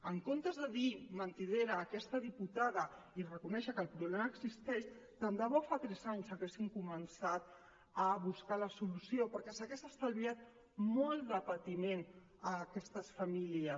en comptes de dir mentidera a aquesta diputada i reconèixer que el problema existeix tant de bo fa tres anys haguessin començat a buscar la solució perquè s’hauria estalviat molt de patiment a aquestes famílies